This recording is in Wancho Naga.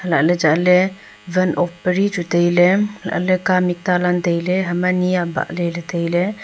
ha la ley chat ley van off pa re chu tailey kamih talang tailey ha ma ne abaley tai ley.